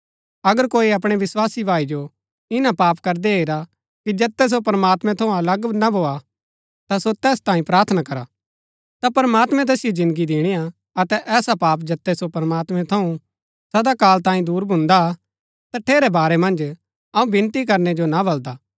अगर कोई अपणै विस्वासी भाई जो इन्‍ना पाप करदै हेरा कि जैतै सो प्रमात्मैं थऊँ अलग ना भोआ ता सो तैस तांई प्रार्थना करा ता प्रमात्मैं तैसिओ जिन्दगी दिणिआ अतै ऐसा पाप जैतै सो प्रमात्मैं थऊँ सदा काल तांई दूर भून्दा तठेरै बारै मन्ज अऊँ विनती करनै जो ना बल्‍दा